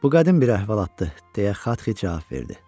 Bu qədim bir əhvalatdır, deyə Xatxi cavab verdi.